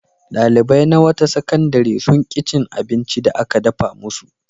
Ɗalibai na wata sakandare sun ƙi cin abincin da aka dafa musu.